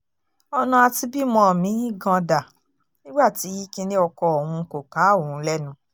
ọ̀nà àti bímọ mí-ín gan-an dá nígbà tí kinní oko òun kò ká òun lẹ́nu